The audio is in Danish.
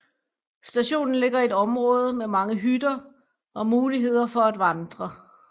Stationen ligger i et område med mange hytter og muligheder for at vandre